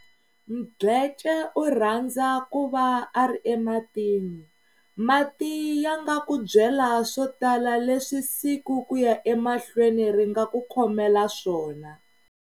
Mdletshe u rhandza ku va a ri ematini. Mati ya nga ku byela swo tala leswi siku ku ya emahlweni ri nga ku khomela swona.